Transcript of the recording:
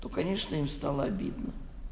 то конечно им стало обидно